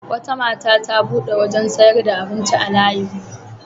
Wata mata ta buɗe wurin sayar da abinci a layinmu.